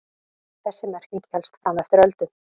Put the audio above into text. Þessi merking hélst fram eftir öldum.